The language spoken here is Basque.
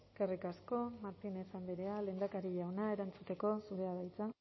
eskerrik asko martínez andrea lehendakari jauna erantzuteko zurea da hitza